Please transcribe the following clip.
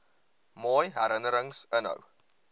mooi herinnerings inhou